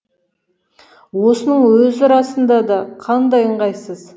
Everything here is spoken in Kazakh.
осының өзі расында да қандай ыңғайсыз